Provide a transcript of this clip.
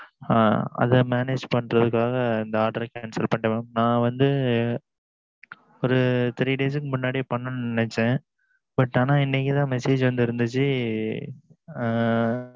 ஆஹ் அதை manage பண்ணுறதுக்குகாக இந்த order cancel பண்ணிட்டேன் mam நான் வந்து ஓரு three days முன்னாடி பண்ணனும்னு நினைச்ச but ஆனா இன்னைக்கு தான் message வந்து இருந்தது